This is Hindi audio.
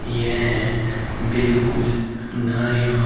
यह बिल्कुल नया--